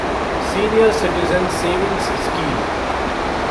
senior citizen savings scheme